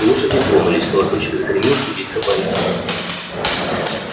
лошади тронулись колокольчик загремел кибитка полетела